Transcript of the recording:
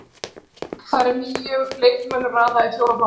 Þar er nýjum leikmönnum raðað í fjóra flokka.